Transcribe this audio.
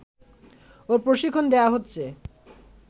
ও প্রশিক্ষণ দেয়া হচ্ছে